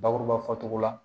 Bakuruba fɔcogo la